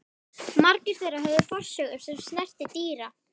Margir þeirra höfðu forsögu sem snerti dýra